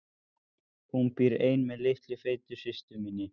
Hún býr ein með litlu feitu systur minni.